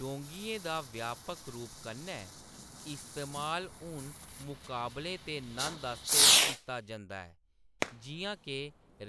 डोंगियें दा व्यापक रूप कन्नै इस्तेमाल हून मुकाबले ते नंद आस्तै कीता जंदा ऐ, जिʼयां के